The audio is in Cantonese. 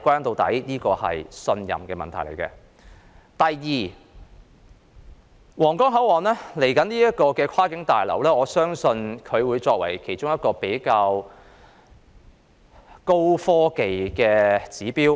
第二，我相信將來的皇崗口岸跨境旅檢大樓會作為一個高科技指標。